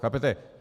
Chápete?